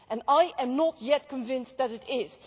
And I am not yet convinced that it is.